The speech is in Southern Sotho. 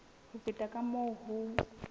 ho feta ka moo ho